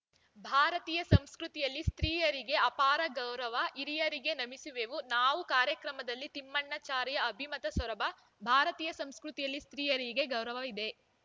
ಭಾರತೀಯ ಸಂಸ್ಕೃತಿಯಲ್ಲಿ ಸ್ತ್ರೀಯರಿಗೆ ಅಪಾರ ಗೌರವ ಹಿರಿಯರಿಗೆ ನಮಿಸುವೆವು ನಾವು ಕಾರ್ಯಕ್ರಮದಲ್ಲಿ ತಿಮ್ಮಣ್ಣಾಚಾರಿ ಅಭಿಮತ ಸೊರಬ ಭಾರತೀಯ ಸಂಸ್ಕೃತಿಯಲ್ಲಿ ಸ್ತ್ರೀಯರಿಗೆ ಗೌರವವಿದೆ